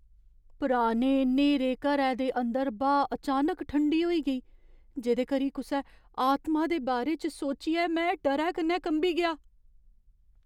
पुराने न्हेरे घरै दे अंदर ब्हा अचानक ठंडी होई गेई, जेह्‌दे करी कुसै आतमा दे बारे च सोचियै में डरै कन्नै कंबी गेआ।